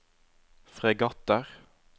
fregatter